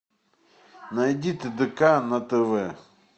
найди тдк на тв